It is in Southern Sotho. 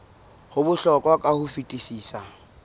ho bohlokwa ka ho fetisisa